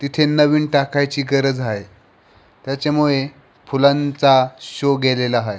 तिथे नवीन टाकायची गरज आहे त्याच्यामुळे फुलांचा शो गेलेला आहे.